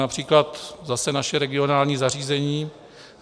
Například zase naše regionální zařízení